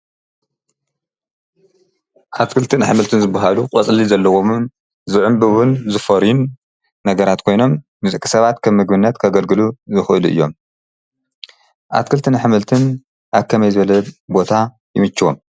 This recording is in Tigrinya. ኣትክልትን ኣሕምልትን ዝብሃሉ ቖጽሊ ዘለዎምን ዝዑምቢውን ዝፈርዩን ነገራት ኮይኖም ምጽቂ ሰባት ከብምግብነት ከገልግሉ ዝክእሉ እዮም። ኣትክልትን አኅምልትን ኣብ ከመይ ዘለ ቦታ ይምችዎም?